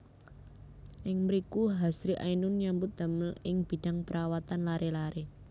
Ing mriku Hasri Ainun nyambut damel ing bidang perawatan laré laré